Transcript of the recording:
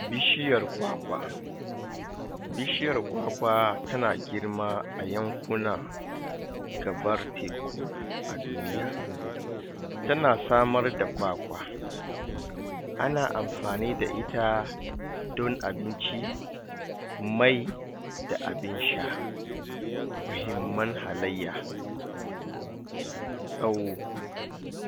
Bishiyar kwakwa bishiyar kwakwa tana girma a yankunan gabar teku aduniya tana samar da kwakwa ana amfani da ita don abinci may da abin sha mahimman halaiya tsawo